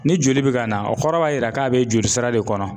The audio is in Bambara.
Ni joli bɛ ka na o kɔrɔ b'a yira k'a bɛ jolisira de kɔnɔ.